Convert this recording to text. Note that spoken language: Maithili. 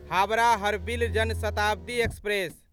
हावड़ा हरबिल जन शताब्दी एक्सप्रेस